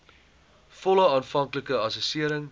volle aanvanklike assessering